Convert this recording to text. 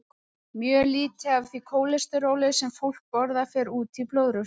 Mjög lítið af því kólesteróli sem fólk borðar fer út í blóðrásina.